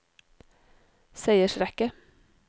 seiersrekke